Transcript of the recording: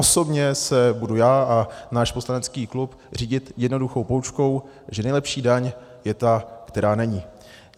Osobně se budu já a náš poslanecký klub řídit jednoduchou poučkou, že nejlepší daň je ta, která není.